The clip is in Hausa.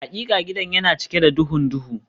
Hakika gidan yana cike da duhun duhu